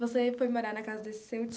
Você foi morar na casa desse seu